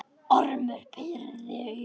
Ormur pírði augun.